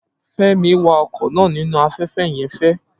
Femi wa ọkọ̀ náà nínú afẹ́fẹ́ yẹn fe